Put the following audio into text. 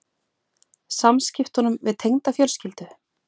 Samskiptunum við tengdafjölskyldu?